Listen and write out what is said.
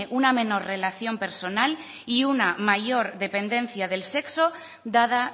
una menor relación personal y una mayor dependencia del sexo dada